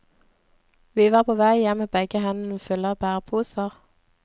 Vi var på vei hjem med begge hendene fulle av bæreposer.